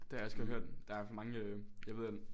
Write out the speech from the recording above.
Det har jeg også godt hørt det er mange øh jeg ved at